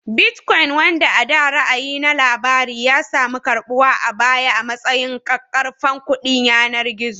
Bitcoin, wanda a da ra'ayi na labari, ya sami karɓuwa a baya a matsayin ƙaƙƙarfan kuɗin yanar gizo